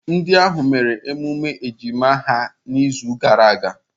Ndị ahụ mere emume ejima ha n'izu gara aga.